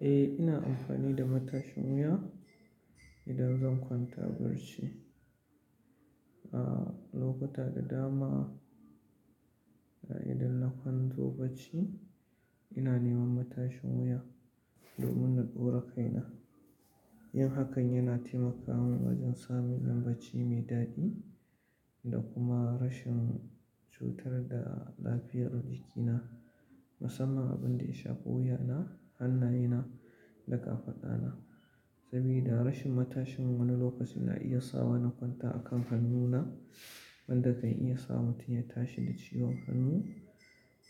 Eh, ina amfani da matashin wuya idan zan kwanta barci. A lokuta da dama, idan na kwanzo barci ina neman matashin wuya domin na ɗora kaina. Yin hakan yana taimaka min wajen samun yin barci mai daɗi da kuma rashin cutar da lafiyar jikina, musamman abin da ya shafi wuyana, hannayena da ƙafaɗana. Saboda rashin matashin wani lokaci na iya sa wa na kwanta a kan hannuna wanda kan iya sa mutum ya tashi da ciwon hannu.